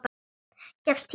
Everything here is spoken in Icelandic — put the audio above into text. Gefst tími til þess?